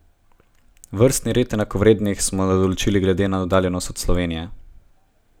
Vrstni red enakovrednih smo določili glede na oddaljenost od Slovenije.